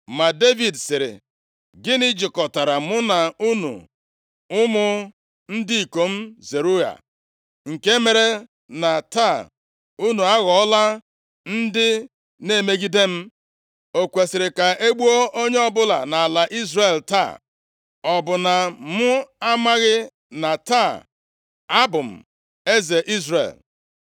Ma Devid sịrị, “Gịnị jikọtara mụ na unu ụmụ ndị ikom Zeruaya, nke mere na taa unu aghọọla ndị na-emegide m? O kwesiri ka e gbuo onye ọbụla nʼala Izrel taa? Ọ bụ na m amaghị na taa, abụ m eze Izrel?”